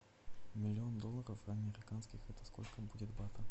миллион долларов американских это сколько будет батов